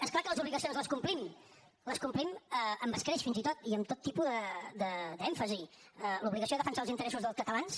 és clar que les obligacions les complim les complim amb escreix fins i tot i amb tot tipus d’èmfasi l’obligació de defensar els interessos dels catalans